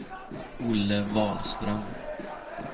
Olle Wahlström